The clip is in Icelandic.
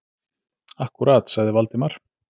Akkúrat- sagði Valdimar.